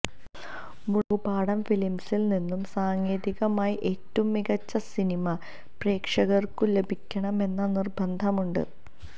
മുളകുപാടം ഫിലിംസിൽ നിന്നും സാങ്കേതികമായി ഏറ്റവും മികച്ച സിനിമ പ്രേക്ഷകർക്കു ലഭിക്കണമെന്ന നിർബന്ധമുണ്ട്